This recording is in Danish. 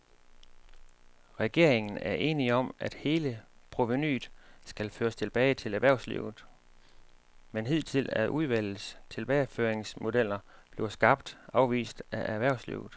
Regeringen er enig om, at hele provenuet skal føres tilbage til erhvervslivet, men hidtil er udvalgets tilbageføringsmodeller blevet skarpt afvist af erhvervslivet.